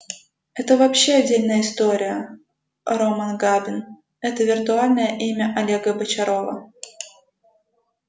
это вообще отдельная история роман габин это виртуальное имя олега бочарова